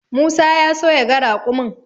Musa ya so yaga raƙumin.